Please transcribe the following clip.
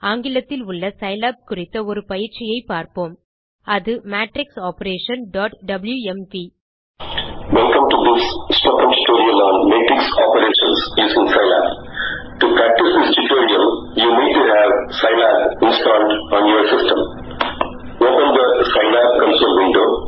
ஆங்கிலத்தில் உள்ள சிலாப் குறித்த ஒரு பயிற்சியை பார்ப்போம் அது- matrixoperationடப்ளூஎம்வி